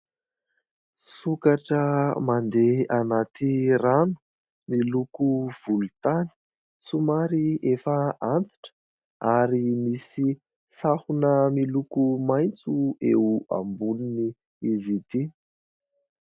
Sokatra mandeha anaty rano miloko volontany. Somary efa antitra ary misy sahona miloko maitso eo amboniny izy ity.